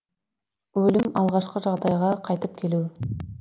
өлім алғашқы жағдайға қайтып келу